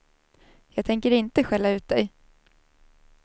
Jag tänker inte skälla ut dig.